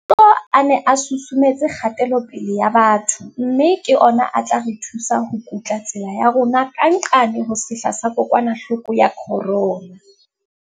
Maikutlo a ne a susumetse kgatelopele ya batho mme ke ona a tla re thusa ho kutla tsela ya rona ka nqane ho sehla sa kokwanahloko ya corona.